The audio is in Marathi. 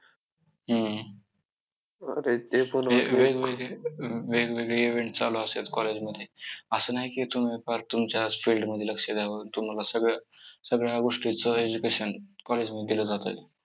हम्म वेगवेगळे वेगवेगळे event चालू असतात college मध्ये असं नाही की तुम्ही फक्त तुमच्याच field मध्ये लक्ष द्यावं. तुम्हाला सगळं सगळ्या गोष्टीचं education college मध्ये दिलं जातं.